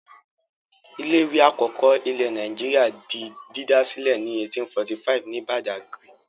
Ilé-ìwé àkọ́kọ́ ilẹ̀ Nàìjíríà di dídá sílẹ̀ ní 1845 ní Badagry.